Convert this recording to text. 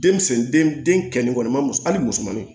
Densen den den kɛnin kɔni ma muso hali musomaninw